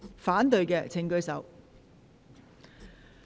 反對的請舉手。